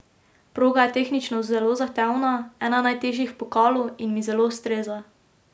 Proga je tehnično zelo zahtevna, ena najtežjih v pokalu, in mi zelo ustreza.